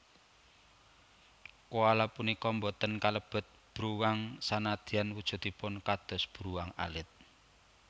Koala punika boten kalebet bruwang sanajan wujudipun kados bruwang alit